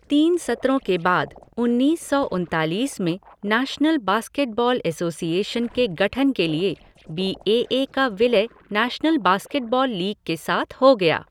तीन सत्रों के बाद, उन्नीस सौ उनतालीस में, नेशनल बास्केटबॉल एसोसिएशन के गठन के लिए बी ए ए का विलय नेशनल बास्केटबॉल लीग के साथ हो गया।